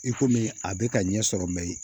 I komi a bɛ ka ɲɛ sɔrɔ mɛ